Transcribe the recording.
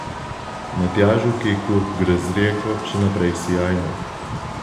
Matjažu Keku gre z Rijeko še naprej sijajno.